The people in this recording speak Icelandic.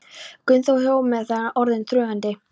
Gunnþór þegar þögnin var orðin þrúgandi.